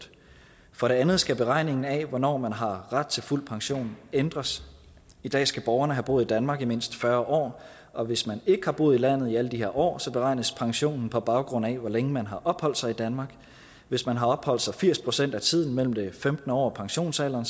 for det andet skal beregningen af hvornår man har ret til fuld pension ændres i dag skal borgerne have boet i danmark i mindst fyrre år og hvis man ikke har boet i landet i alle de her år beregnes pensionen på baggrund af hvor længe man har opholdt sig i danmark hvis man har opholdt sig her firs procent af tiden mellem det femtende år og pensionsalderen